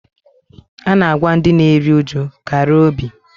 A na-agwa ndị na-eri uju "kara obi"